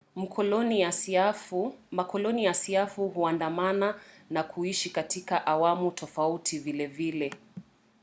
makoloni ya siafu huandamana na kuishi katika awamu tofauti vilevile